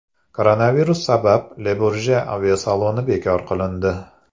Koronavirus sabab Le-Burje aviasaloni bekor qilindi.